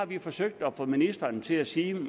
vi har forsøgt at få ministeren til at sige